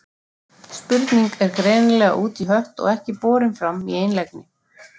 spurning er greinilega út í hött og ekki borin fram í einlægni